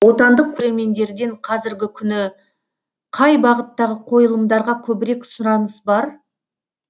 отандық көрермендерден қазіргі күні қай бағыттағы қойылымдарға көбірек сұраныс бар